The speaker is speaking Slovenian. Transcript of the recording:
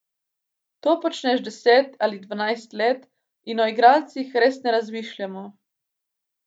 To počneš deset ali dvanajst let in o igralcih res ne razmišljamo.